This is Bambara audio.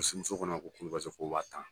Paseke muso ko ne ma k'olu bɛ se ko wa tan